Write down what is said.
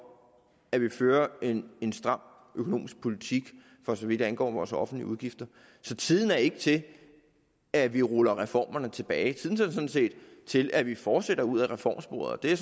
at vi fører en stram økonomisk politik for så vidt angår vores offentlige udgifter så tiden er ikke til at vi ruller reformerne tilbage tiden er sådan set til at vi fortsætter ud ad reformsporet det